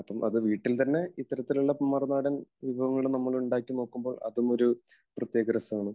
അപ്പോൾ വീട്ടിൽ തന്നെ ഇത്തരത്തിലുള്ള മറുനാടൻ വിഭവങ്ങൾ ഒക്കെ നമ്മൾ ഉണ്ടാക്കി നോക്കുമ്പോൾ അതും ഒരു പ്രത്യേക രസമാണ്.